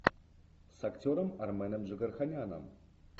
с актером арменом джигарханяном